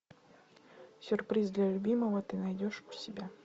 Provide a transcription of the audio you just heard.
сюрприз для любимого ты найдешь у себя